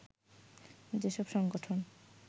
যেসব সংগঠন